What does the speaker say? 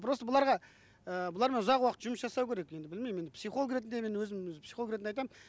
просто бұларға ыыы бұлармен ұзақ уақыт жұмыс жасау керек енді білмеймін енді психолог ретінде мен өзім психолог ретінде айтамын